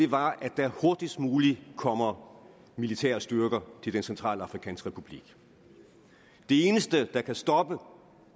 var at der hurtigst muligt kommer militære styrker til den centralafrikanske republik det eneste der kan stoppe